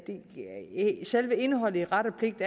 selve indholdet i ret og pligt